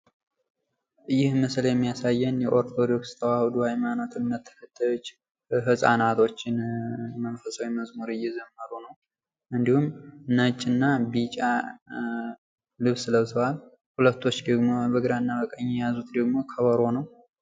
ይህ ምስል የሚያሳየን የኦርቶዶክስ ተዋህዶ ሃይማኖት እምነት ተከታዮች ህፃናቶች መንፈሳዊ መዝሙር እየዘመሩ ነው ።እንዲሁም ነጭ እና ቢጫ ልብስ ለብሰዋል ሁለቶች ደግሞ በግራና በቀኝ የያዙት ደግሞ ከበሮ ነው ።